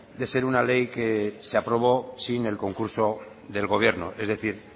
de ser una ley que se aprobó sin el concurso del gobierno es decir